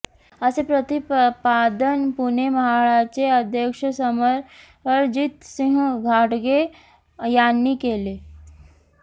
असे प्रतिपादन पुणे म्हाडाचे अध्यक्ष समरजितसिंह घाटगे यांनी केले